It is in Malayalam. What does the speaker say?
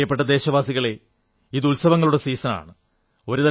പ്രിയപ്പെട്ട ദേശവാസികളേ ഇത് ഉത്സവങ്ങളുടെ സീസണാണ്